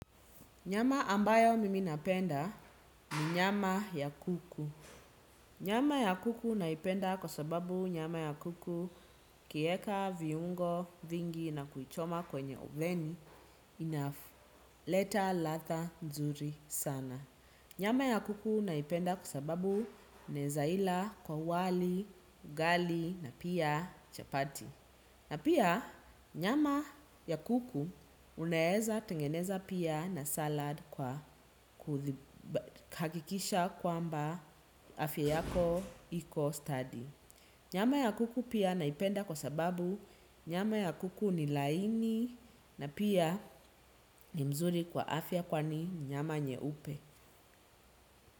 Nyama ambayo mimi napenda ni nyama ya kuku. Nyama ya kuku naipenda kwa sababu nyama ya kuku ukieka, viungo, vingi na kwichoma kwenye oveni enough. Leta latha nzuri sana. Nyama ya kuku naipenda kwa sababu nezaila kwa wali, ugali na pia chapati. Na pia nyama ya kuku unaeza tengeneza pia na salad kwa hakikisha kwamba afya yako iko study. Nyama ya kuku pia naipenda kwa sababu nyama ya kuku ni laini na pia ni mzuri kwa afya kwani nyama nyeupe.